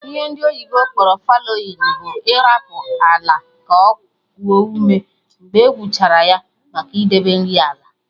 Ihe ndị oyibo kpọrọ fallowing bụ ịrapụ ala ka okuo ume mgbe e gwụchara ya, maka idebe nri ala